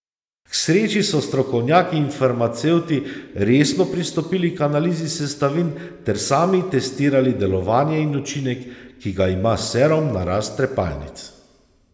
K sreči so strokovnjaki in farmacevti resno pristopili k analizi sestavin ter sami testirali delovanje in učinek, ki ga ima serum na rast trepalnic.